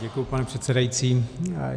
Děkuji, pane předsedající.